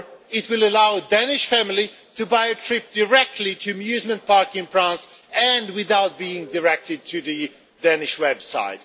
It will allow a Danish family to buy a trip directly to an amusement park in France and without being directed to the Danish website.